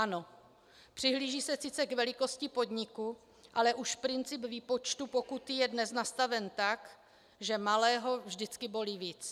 Ano, přihlíží se sice k velikosti podniku, ale už princip výpočtu pokuty je dnes nastaven tak, že malého vždycky bolí víc.